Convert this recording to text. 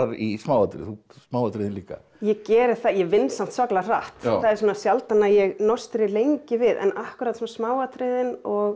í smáatriðum smáatriðum líka ég geri það ég vinn samt svakalega hratt það er sjaldan að ég lengi við en akkúrat smáatriðin og